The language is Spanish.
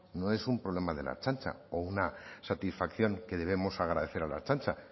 no es un problema de la ertzaintza o una satisfacción que debemos agradecer a la ertzaintza